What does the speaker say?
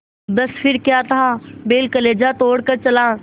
बस फिर क्या था बैल कलेजा तोड़ कर चला